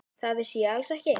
Það vissi ég alls ekki.